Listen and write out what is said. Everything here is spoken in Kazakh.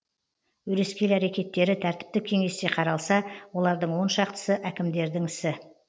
өрескел әрекеттері тәртіптік кеңесте қаралса олардың он шақтысы әкімдердің ісі